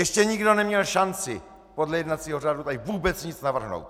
Ještě nikdo neměl šanci podle jednacího řádu tady vůbec nic navrhnout!